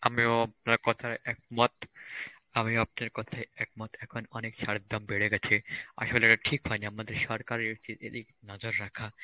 আমিও আপনার কথায় একমত, আমিও আপনার কথায় একমত এখন অনেক সারের দাম বেড়ে গেছে, আসলে এটা ঠিক হয়নি আমাদের সরকারের দিক নজর রাখা